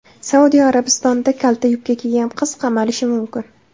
Saudiya Arabistonida kalta yubka kiygan qiz qamalishi mumkin.